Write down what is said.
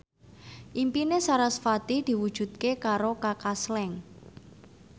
impine sarasvati diwujudke karo Kaka Slank